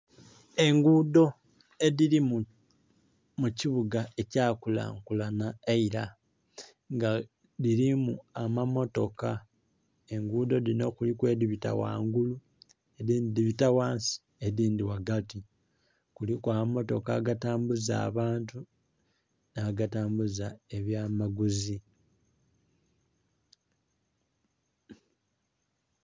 Engudho edhirimu kibuga ekya kulankulanha eira nga dhirimu amamotooka, engudho edhinho kuliku edhibita ghangulu, edhindhi dhibita ghansi, edhindhi ghagati kuliku. Amamotoka agatambuza abaantu nha gatambuza ebyamaguzi